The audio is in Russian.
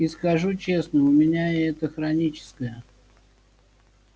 и скажу честно у меня это хроническое